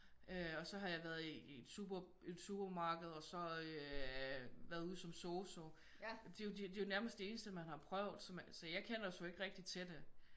Øh og så har jeg været i et supermarked og så været ude som sosu det er jo nærmest det eneste man har prøvet så jeg kender sgu ikke rigtig til det